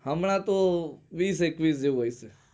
હમણાં તો વિસ એકવીસ જેવો હોય છે